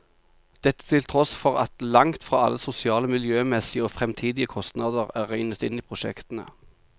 Dette til tross for at langt fra alle sosiale, miljømessige og fremtidige kostnader er regnet inn i prosjektene.